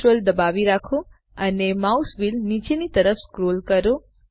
Ctrl દબાવી રાખો અને માઉસ વ્હીલ નીચેની તરફ સ્ક્રોલ કરો